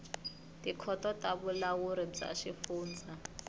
tikhoto ta vulawuri bya swifundza